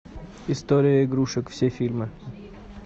история игрушек все фильмы